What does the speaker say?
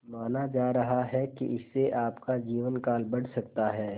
माना जा रहा है कि इससे आपका जीवनकाल बढ़ सकता है